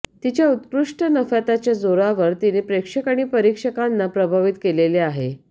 तिच्या उत्कृष्ट नफत्याच्या जोरावर तिने प्रेक्षक आणि परीक्षकांना प्रभावित केलेले आहे